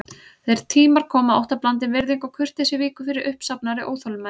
Þeir tímar koma að óttablandin virðing og kurteisi víkur fyrir uppsafnaðri óþolinmæði.